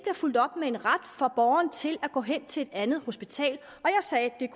fulgt op med en ret for borgeren til at gå hen til et andet hospital